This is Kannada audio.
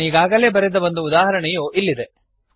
ನಾನೀಗಾಗಲೇ ಬರೆದ ಒಂದು ಉದಾಹರಣೆಯು ಇಲ್ಲಿದೆ